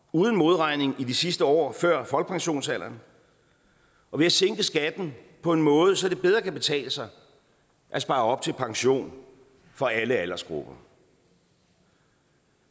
uden modregning i de sidste år før folkepensionsalderen og ved at sænke skatten på en måde så det bedre kan betale sig at spare op til pension for alle aldersgrupper